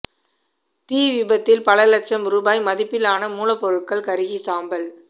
தீ விபத்தில் பல லட்சம் ரூபாய் மதிப்பிலான மூலப்பொருட்கள் கருகி சாம்பல்